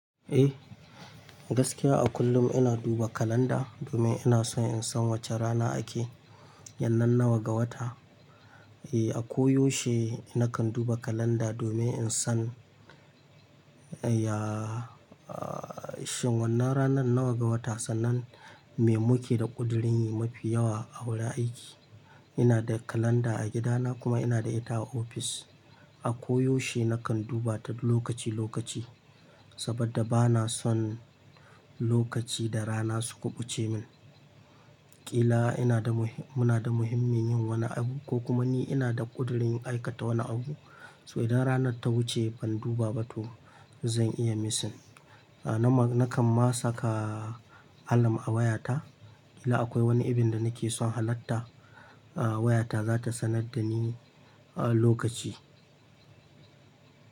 Eh, gaskiya a kullum ina duba kalanda domin ina son in san wace rana ake yannan nawa ga wata. Eh, a koyaushe nakan duba kalanda domin in san, yaaa, aa, shin wannan ranar nawa ga wata sannan me muke da ƙudurin yi mafi yawa a wurin aiki. Ina da kalanda a gidana kuma ina da ita a ofis. A koyaushe nakan duba ta lokaci lokaci saboda bana son lokaci da rana su kuɓuce min. Kila ina da muhi-- muna da muhimmin yin wani abu ko kuma ni ina da ƙudurin aikata wani abu, so idan ranar ta wuce ban duba ba to zan iya missing. Na ma-- nakan ma saka alam a wayata. Kila akwai wani ibin da nake son halarta, a, wayata za ta sanar da ni a lokaci.